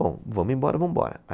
Bom, vamos embora, vamos embora.